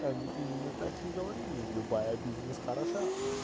они именно так и говорили любая бизнес хороша